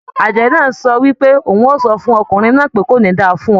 Àjẹ́ náà sọ wípé òun o sọ fún ọkùnrin náà wípé "Kò ní da fún ọ"